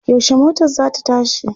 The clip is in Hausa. Yaushe motar za ta tashi?